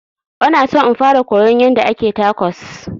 Ona son in fara koyon yanda ake tacos